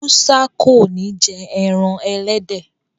Musa kọ ní jé èràn elédè.